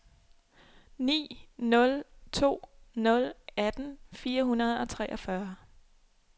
ni nul to nul atten fire hundrede og treogfyrre